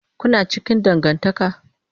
Kuna cikin dangantaka?